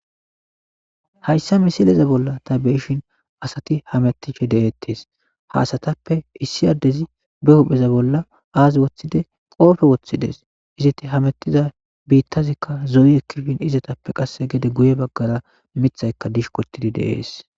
Hayssa misileza bolla ta be'ishin asati hameetishe de'etees ha asatappe issi addezi be hupheza bolla az woththide qoope woththides izeti hameetiza biitazikka zo'i ekkishin izetappe qasse gede guye bagaara miththayka dishqotidi de'es.